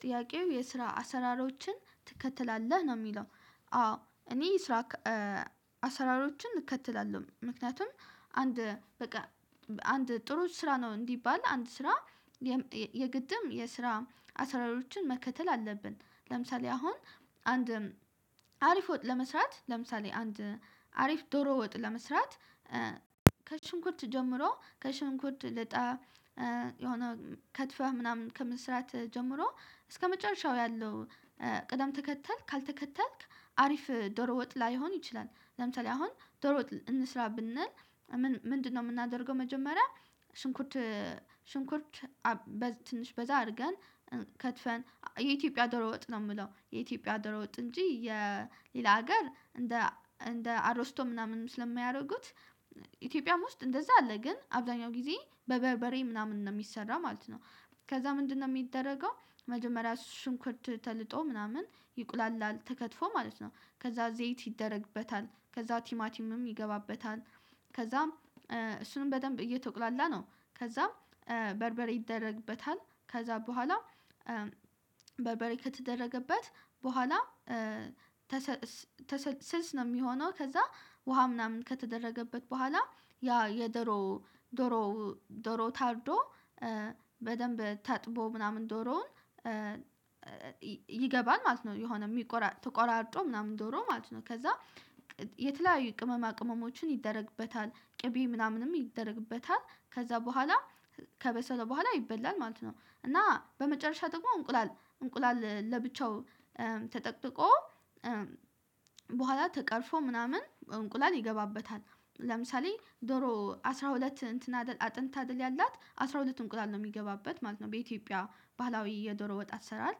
ጥያቄው የስራ አሰራሮችን ትከተላለህ ነው የሚለው? አዎ እኔ ስራ አሰራሮችን እከተላለሁ ምክንያቱም አንድ በቃ አንድ ጥሩ ስራ ነው እንዲባል አንድ ስራ የግድም የስራ አስራ አራት መከተል አለብን። ለምሳሌ አሁን አንድ አሪፍ ወጥ ለመስራት ለምሳሌ አንድ አሪፍ ዶሮ ወጥ ለመስራት ከሽንኩት ጀምሮ ከሽንኩት ልጠህ የሆነ ከትፈህ ምናምን ከመስራት ጀምሮ እስከመጨረሻው ያለው ቅደም ተከተል ካልተከተልክ አሪፍ ዶሮ ወጥ ላይሆን ይችላል። ለምሳሌ አሁን ዶሮ ወጥ እንስራ ብንል ምንድነው? የምናደርገው መጀመሪያ ሽንኩርት ሽንኩርት ትንሽ በዛ አድርገን ከትፈን የኢትዮጵያ ዶሮ ወጥ ነው የምለው የኢትዮጵያ ዶሮ ወጥ እንጂ የሌላ ሀገር እንደ እንደ አሮስቶ ምናምን ስለሚያደርጉት ኢትዮጵያም ውስጥ እንደዛም አለ ግን አብዛኛው ጊዜ በበርበሬ ምናምን ነው የሚሰራው ማለት ነው። ከዛ ምንድነው የሚደረገው? መጀመሪያ ሽንኩርት ተልጦ ምናምን ይቁላላል ተከትፎ ማለት ነው ከዛ ዘይት ይደረግበታል ከዛ ቲማቲምም ይገባበታል ከዛም እሱንም በደንብ እየተቁላላ ነው። ከዛ በርበሬ ይደረግበታል ከዛ በኋላ በርበሬ ከተደረገበት በኋላ ስልስ ነው የሚሆነው ከዛ ውሃ ምናምን ከተደረገበት በኋላ ያ የደሮ ዶሮ ዶሮ ታርዶ በደንብ ታጥቦ ምናምን ዶሮውን ዶሮውን ይገባል ማለት ነው። የሆነ ተቆራርጦ ምናምን ዶሮ ማለት ነው ከዛ የተለያዩ ቅመማ ቅመሞችን ይደረግበታል ቅቤ ምናምንም ይደረግበታል ከዛ በኋላ ከበሰለ በኋላ ይበላል ማለት ነው። እና በመጨረሻ ደግሞ እንቁላል እንቁላል ለብቻው ተጠቅጥቆ በኋላ ተቀርፎ ምናምን እንቁላል ይገባበታል ለምሳሌ ዶሮ አስራ ሁለት እንትን አጥንት አድል ያላት አስራ ሁለት እንቁላል ነው የሚገባበት ማለት ነው። በኢትዮጵያ ባህላዊ የዶሮ ወጥ አሰራር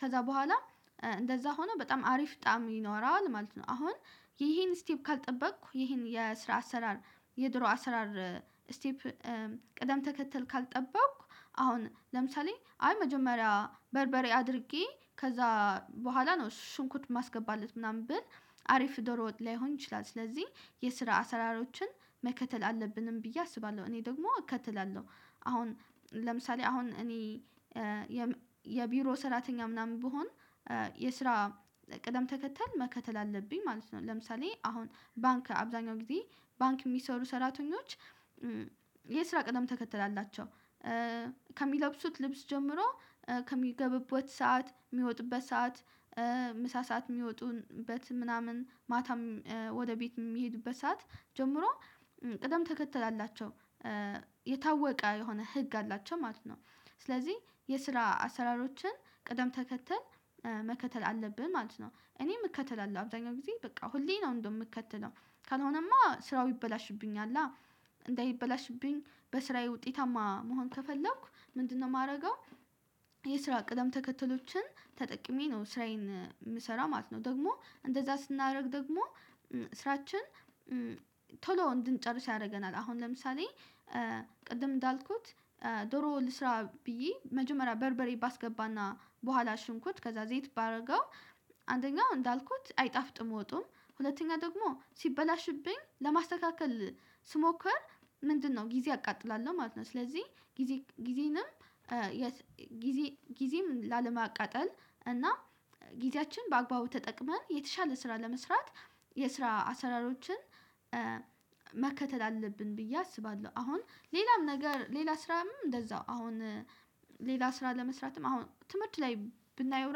ከዛ በኋላ እንደዛ ሆኖ በጣም አሪፍ ጣዕም ይኖረዋል ማለት ነው። አሁን ይሄን ስቴፕ ካልጠበቅኩ ይሄን የስራ አሰራር የድሮ አሰራር ስቴፕ ቅደም ተከተል ካልጠበቅኩ አሁን ለምሳሌ አይ መጀመሪያ በርበሬ አድርጌ ከዛ በኋላ ነው ሽንኩት ማስገባት ምናምን ብል አሪፍ ዶሮ ላይሆን ይችላል። ስለዚህ የስራ አሰራሮችን መከተል አለብንም ብዬ አስባለሁ እኔ ደግሞ እከተላለሁ። አሁን ለምሳሌ አሁን እኔ የቢሮ ሰራተኛ ምናምን ብሆን የስራ ቅደም ተከተል መከተል አለብኝ ማለት ነው። ለምሳሌ አሁን ባንክ አብዛኛው ጊዜ ባንክ የሚሰሩ ሰራተኞች የስራ ቀደም ተከተል ከሚለብሱት ልብስ ጀምሮ ከሚገቡበት ሰዓት የሚወጡበት ሰዓት ምሳ ሰዓት የሚወጡበት ምናምን ማታም ወደ ቤት የሚሄዱበት ሰዓት ጀምሮ ቅደም ተከተል አላቸው የታወቀ የሆነ ህግ አላቸው ማለት ነው። ስለዚህ የስራ አሰራሮችን ቅደም ተከተል መከተል አለብን ማለት ነው እኔም እከተላለሁ አብዛኛው ጊዜ በቃ ሁሌ ነው እንደውም ምከተለው ካልሆነማ ስራው ይበላሽብኛል። እንዳይበላሽብኝ በስራዬ ውጤታማ መሆን ከፈለኩ ምንድነው የማደርገው? የስራ ቅደም ተከተሎችን ተጠቅሜ ነው ስራዬን የምሰራው ማለት ነው። ደግሞ እንደዛ ስናደርግ ደግሞ ስራችን ቶሎ እንድንጨርስ ያደርገናል። አሁን ለምሳሌ ቅድም እንዳልኩት ዶሮ ልስራ ብዬ መጀመሪያ በርበሬ ባስገባና በኋላ ሽንኩት ከዛ ዘይት ባደርገው አንደኛው እንዳልኩት አይጣፍጥም ወጡም ሁለተኛ ደግሞ ሲበላሽብኝ ለማስተካከል ስሞክር ምንድነው ጊዜ አቃጥላለሁ ማለት ነው። ስለዚህ ጊዜ ጊዜንም ጊዜ ጊዜም ላለማቃጠል እና ጊዜያችን በአግባቡ ተጠቅመን የተሻለ ስራ ለመስራት የስራ አሰራሮችን መከተል አለብን ብዬ አስባለሁ። አሁን ሌላም ነገር ሌላ ስራም እንደዛው አሁን ሌላ ስራ ለመስራትም አሁን ትምህርት ላይ ብናየው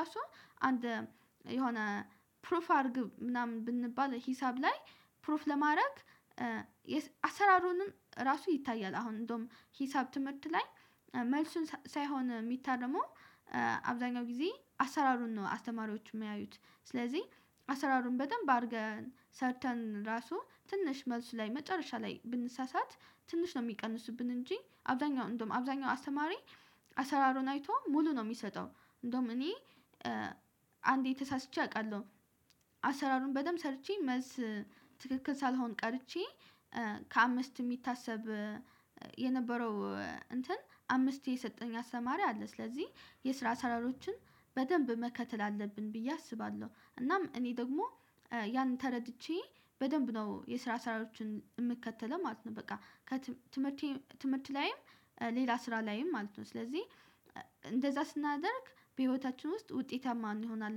ራሱ አንድ የሆነ ፕሩፍ አድርግ ምናምን ብንባል ሂሳብ ላይ ፕሩፍ ለማድረግ አሰራሩንም ራሱ ይታያል። አሁን እንደውም ሂሳብ ትምህርት ላይ መልሱን ሳይሆን ሚታረመው አብዛኛው ጊዜ አሰራሩን ነው። አስተማሪዎች የሚያዩት ስለዚህ አሰራሩን በደንብ አድርገን ሰርተን ራሱ ትንሽ መልስ ላይ መጨረሻ ላይ ብንሳሳት ትንሽ ነው የሚቀንሱብን እንጂ አብዛኛው እንደውም አብዛኛው አስተማሪ አሰራሩን አይቶ ሙሉ ነው የሚሰጠው። እንደውም እኔ አንዴ ተሳስቼ አውቃለሁ። አሰራሩን በደንብ ሰርቼ መልስ ትክክል ሳልሆን ቀርቼ ከአምስት የሚታሰብ የነበረው እንትን አምስቴ የሰጠኝ አስተማሪ አለ። ስለዚህ የስራ አሰራሮችን በደንብ መከተል አለብን ብዬ አስባለሁ። እናም እኔ ደግሞ ያን ተረድቼ በደንብ ነው የስራ አሰራሮችን የምከተለው ማለት ነው። በቃ ከትምህርት ትምህርት ላይም ሌላ ስራ ላይም ማለት ነው። ስለዚህ እንደዛ ስናደርግ በህይወታችን ውስጥ ውጤታማ እንሆናለን